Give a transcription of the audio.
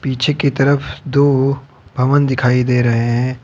पीछे की तरफ दो भवन दिखाई दे रहे हैं।